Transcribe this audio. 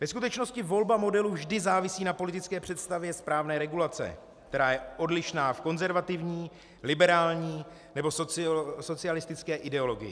Ve skutečnosti volba modelu vždy závisí na politické představě správné regulace, která je odlišná v konzervativní, liberální nebo socialistické ideologii.